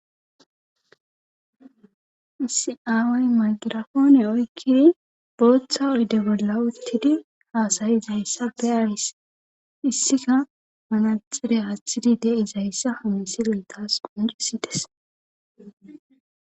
Isi away magirafoone oykkidi booththa oyde bolla uttidi haasayi izayssappe aaris issika manaxire haathtidi de'izayssa hamisi geltas qoncirisides